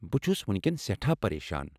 بہٕ چھُس وُنكیٚن سٮ۪ٹھاہ پریشان۔